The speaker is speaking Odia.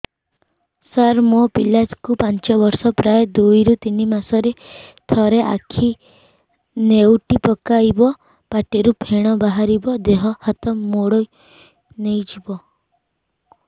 ସାର ମୋ ପିଲା କୁ ପାଞ୍ଚ ବର୍ଷ ପ୍ରାୟ ଦୁଇରୁ ତିନି ମାସ ରେ ଥରେ ଆଖି ନେଉଟି ପକାଇବ ପାଟିରୁ ଫେଣ ବାହାରିବ ଦେହ ହାତ ମୋଡି ନେଇଯିବ